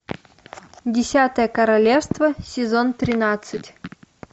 десятое королевство сезон тринадцать